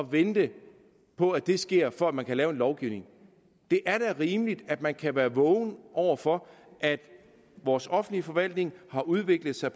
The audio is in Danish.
vente på at det sker for at man kan lave en lovgivning det er da rimeligt at man kan være vågen over for at vores offentlige forvaltning har udviklet sig